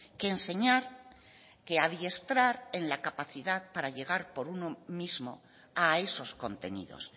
que enseñar que adiestrar en la capacidad para llegar por uno mismo a esos contenidos